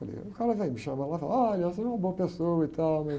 Falei, ah o cara vem me chamar lá e falar, olha, você é uma boa pessoa e tal.